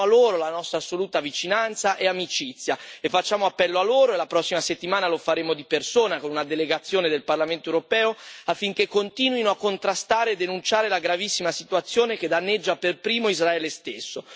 Ribadiamo a loro la nostra assoluta vicinanza e amicizia e facciamo appello a loro e la prossima settimana lo faremo di persona con una delegazione del Parlamento europeo, affinché continuino a contrastare e denunciare la gravissima situazione che danneggia per primo Israele stesso.